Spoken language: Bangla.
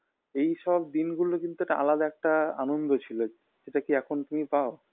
এইসব দিনগুলো কিন্তু একটু আলাদা একটা আনন্দ ছিল সেটা কী এখন তুমি পাও